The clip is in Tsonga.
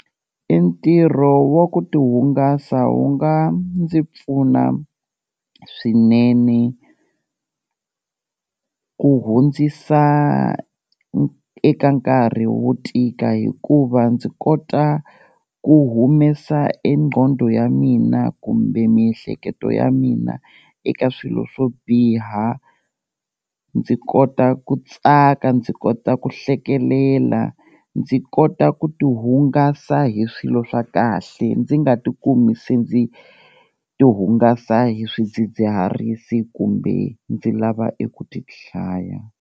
E ntirho wa ku ti hungasa wu nga ndzi pfuna swinene ku hundzisa eka nkarhi wo tika, hikuva ndzi kota ku humesa e nqondo ya mina kumbe miehleketo ya mina eka swilo swo biha, ndzi kota ku tsaka, ndzi kota ku hlekelela, ndzi kota ku ti hungasa hi swilo swa kahle ndzi nga tikumi se ndzi ti hungasa hi swidzidziharisi kumbe ndzi lava eku ti dlaya.